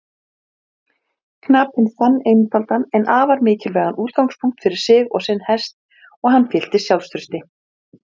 Einhvers staðar annars staðar.